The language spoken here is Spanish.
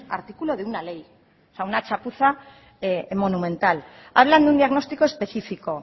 artículo de una ley o sea una chapuza monumental hablan de un diagnóstico específico